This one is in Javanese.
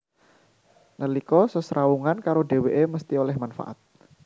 Nalika sesrawungan karo dhèwèké mesthi oleh manfaat